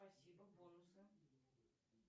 спасибо бонусы